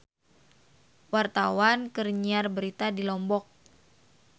Wartawan keur nyiar berita di Lombok